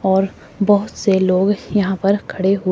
और बहोत से लोग यहां पर खड़े हुए--